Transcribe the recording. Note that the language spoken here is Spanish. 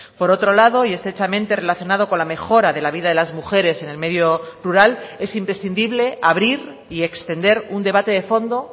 por otro lado y estrechamente relacionado con la mejora de la vida de las mujeres en el medio rural es imprescindible abrir y extender un debate de fondo